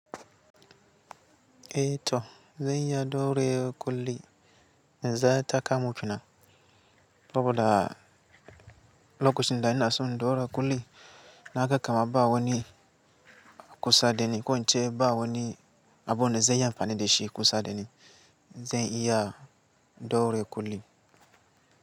Eh to zan iya daure kuli in za ta kamu kenan. Saboda lokacin da ina so in daure kuli na ga kama ba wani kusa da ni ko in ce ba wani abu na zan iya amfani da shi kusa da ni. Zan iya daure kuli.